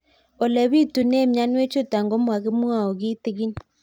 Ole pitune mionwek chutok ko kimwau kitig'ín